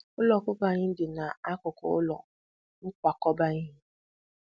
Ụlọ ọkụkọ anyị dị nakụkụ ụlọ nkwakọba ihe.